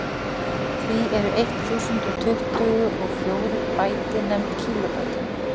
því eru eitt þúsund og tuttugu og fjórir bæti nefnd kílóbæti